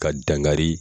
Ka dankari